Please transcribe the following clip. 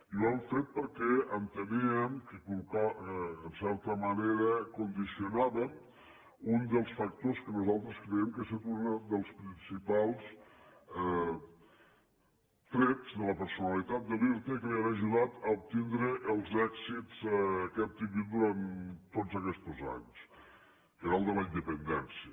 i ho hem fet perquè enteníem que en certa manera condicionàvem un dels factors que nosaltres creiem que ha estat un dels principals trets de la personalitat de l’irta i que l’han ajudat a obtindre els èxits que ha tingut durant tots aquests anys que era el de la independència